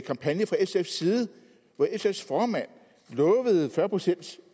kampagne fra sfs side hvor sfs daværende formand lovede fyrre procent